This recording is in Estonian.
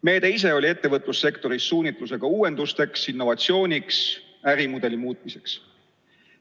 Meede ise oli ettevõtlussektoris suunatud uuenduste ja innovatsiooni läbiviimisele ning ärimudeli muutmisele.